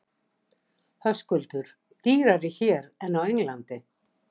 Höskuldur: Dýrari hér en á Englandi?